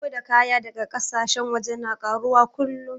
Shigo da kaya daga ƙasashen waje na ƙaruwa kullum